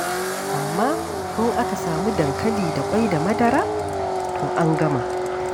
Amma in aka samu dankali da ƙwai da madara, to an gama.